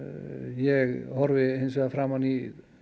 ég horfi hins vegar framan í